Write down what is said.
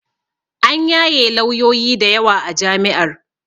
An yaye lawyoyi dayawa a jami'ar